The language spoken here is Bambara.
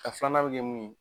A filanan bɛ kɛ mun ye.